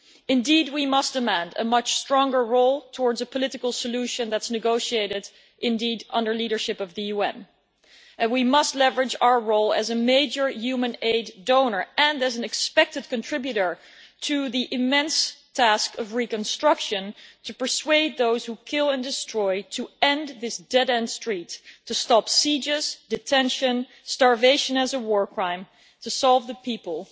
Indeed we must demand a much stronger role towards a political solution that is negotiated under the leadership of the UN. We must leverage our role as a major humanitarian aid donor and as an expected contributor to the immense task of reconstruction to persuade those who kill and destroy to end this dead end street, to stop sieges, detention, starvation as a war crime, to save the people,